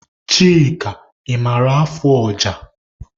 Chika, ị maara afụ ọja?